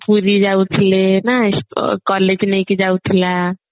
ପୁରୀ ଯାଉଥିଲା ନା collage ନେଇକି ଯାଉଥିଲା